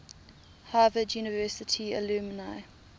harvard university alumni